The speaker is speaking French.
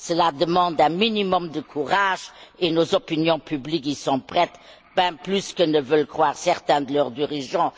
Cela demande un minimum de courage et nos opinions publiques y sont prêtes, même plus que ne veulent le croire certains de leurs dirigeants.